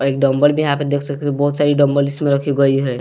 और एक डंबल भी यहां पे देख सकते हो बहुत सारी डंबल इसमें रखी गई हैं।